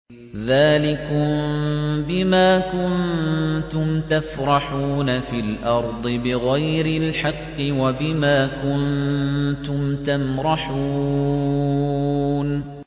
ذَٰلِكُم بِمَا كُنتُمْ تَفْرَحُونَ فِي الْأَرْضِ بِغَيْرِ الْحَقِّ وَبِمَا كُنتُمْ تَمْرَحُونَ